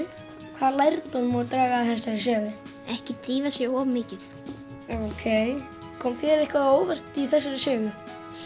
hvaða lærdóm má draga af þessari sögu ekki drífa sig of mikið ókei kom þér eitthvað á óvart í þessari sögu